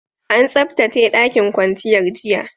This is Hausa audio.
An tsabtace ɗakin kwanciyar, jiya.